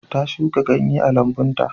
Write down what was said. Ta shuka ganye a lambun ta.